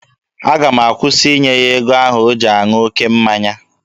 Aga m akwụsị ịnye ya ego ahụ o ji aṅụ oke mmanya.